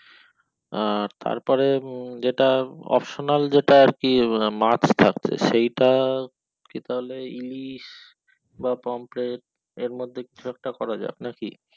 আহ তারপরে উম যেটা optional যেটা আর কি মাছ থাকছে সেটা কি বলে ইলিশ বা পোমপ্লেটে আর মধ্যে কিছু একটা করা যাক নাকি